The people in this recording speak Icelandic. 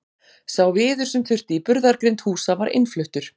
sá viður sem þurfti í burðargrind húsa var innfluttur